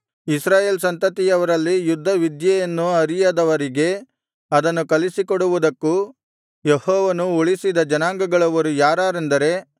ಇಸ್ರಾಯೇಲ್‍ ಸಂತತಿಯವರಲ್ಲಿ ಯುದ್ಧ ವಿದ್ಯೆಯನ್ನು ಅರಿಯದವರಿಗೆ ಅದನ್ನು ಕಲಿಸಿಕೊಡುವುದಕ್ಕೂ ಯೆಹೋವನು ಉಳಿಸಿದ ಜನಾಂಗಗಳವರು ಯಾರಾರೆಂದರೆ